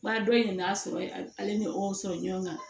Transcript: Ba dɔ in n'a sɔrɔ ale ni o sɔrɔ ɲɔgɔn kan